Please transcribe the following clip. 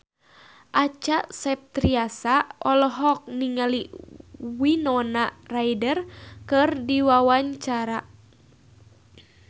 Acha Septriasa olohok ningali Winona Ryder keur diwawancara